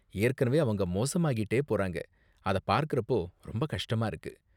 ஏற்கனவே அவங்க மோசமாகிட்டே போறாங்க, அத பார்க்கறப்போ ரொம்ப கஷ்டமா இருக்கு.